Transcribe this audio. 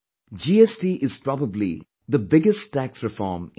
GST is probably be the biggest tax reform in the world